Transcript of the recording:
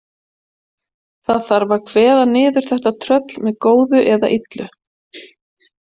Það þarf að kveða niður þetta tröll með góðu eða illu.